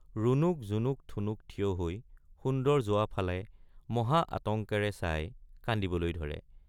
ৰুণুক জুমুক ঠুনুক থিয় হৈ সুন্দৰ যোৱা ফালে মহা আতঙ্কেৰে চাই কান্দিবলৈ ধৰে।